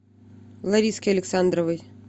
лариске александровой